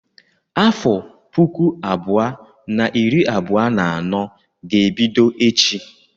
Afọ puku abụọ na iri abụọ na anọ ga-ebido echi.